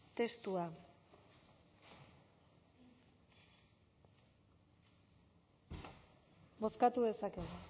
testua bozkatu dezakegu